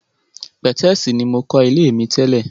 Pẹ̀tẹ́sì ní mokọ́ ilé mi tẹ́lè.